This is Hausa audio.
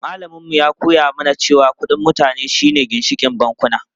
Malamin mu ya koya mana cewa kudin mutane shi ne ginshikin bankuna.